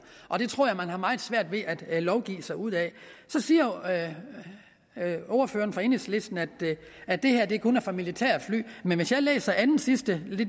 og det tror jeg man har meget svært ved at lovgive sig ud af så siger ordføreren fra enhedslisten at at det her kun er for militærfly men hvis jeg læser andensidste